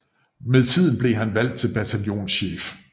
Med tiden blev han valgt til bataljonschef